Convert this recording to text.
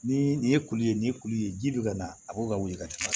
Ni nin ye kulu ye nin ye kulu ye ji bɛ ka na a b'o ka wili ka taa